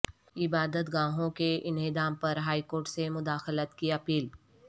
عبادت گاہوں کے انہدام پر ہائی کورٹ سے مداخلت کی اپیل